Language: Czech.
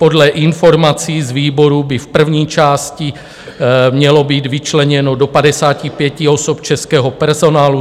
Podle informací z výboru by v první části mělo být vyčleněno do 55 osob českého personálu.